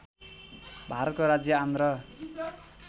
भारतको राज्य आन्ध्र